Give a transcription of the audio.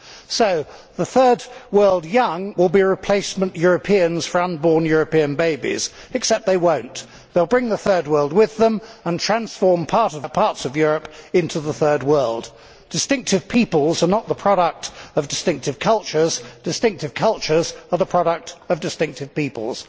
So the third world young will be replacement Europeans for unborn European babies, except that they will not. They will bring the third world with them and transform parts of Europe into the third world. Distinctive peoples are not the product of distinctive cultures. Distinctive cultures are the product of distinctive peoples.